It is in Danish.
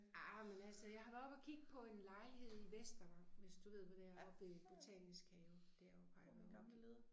Ej men altså jeg har været oppe og kigge på en lejlighed i Vestervang hvis du ved hvor det er oppe ved Botanisk Have deroppe har jeg været oppe og kigge